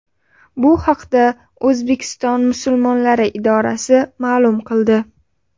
Bu haqda O‘zbekiston musulmonlari idorasi ma’lum qildi .